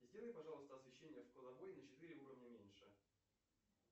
сделай пожалуйста освещение в кладовой на четыре уровня меньше